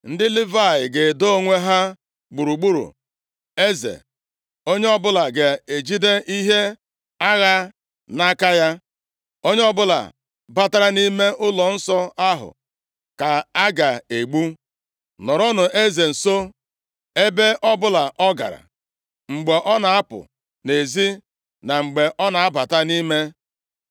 Ndị Livayị ga-edo onwe ha gburugburu eze, onye ọbụla ga e jide ihe agha nʼaka ya. Onye ọbụla batara nʼime ụlọnsọ ahụ ka a ga-egbu. Nọrọnụ eze nso, ebe ọbụla ọ gara, mgbe ọ na-apụ nʼezi na mgbe ọ na-aba nʼime.”